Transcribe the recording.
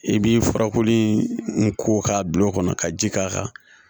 I bi furakoli in ko k'a bil'o kɔnɔ ka ji k'a kan